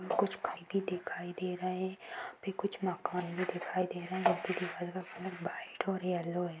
कुछ दिखाई दे रहे है यहां पे कुछ मकान भी दिखाई दे रहे है दीवाल का कलर व्हाइट और येल्लो है।